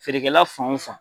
Feerekɛla fan o fan.